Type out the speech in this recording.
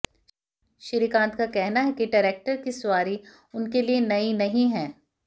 श्रीकांत का कहना है कि ट्रैक्टर की सवारी उनके लिए नई नहीं है